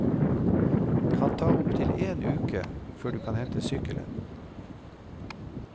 Kan ta opptil en uke før du kan hente sykkelen.